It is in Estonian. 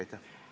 Aitäh!